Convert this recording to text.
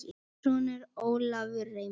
Þinn sonur Ólafur Reimar.